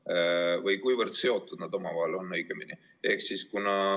Või õigemini, kuivõrd seotud nad omavahel on?